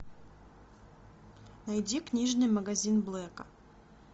найди книжный магазин блэка